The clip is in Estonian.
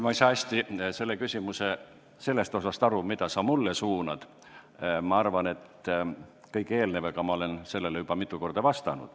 Ma ei saa hästi aru selle küsimuse sellest osast, mille sa mulle suunasid, aga arvan, et kõige eelnevaga olen sellele juba mitu korda vastanud.